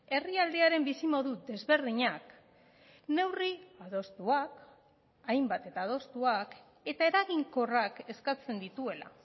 herrialdearen bizimodu desberdinak neurri adostuak hainbat eta adostuak eta eraginkorrak eskatzen dituela